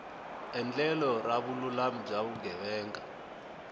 endlelo ra vululami bya vugevenga